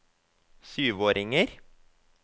syvåringer